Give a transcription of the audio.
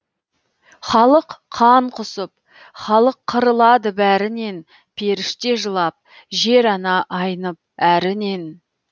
халық қан құсып халық қырылады бәрінен періште жылап жер ана айнып әрінен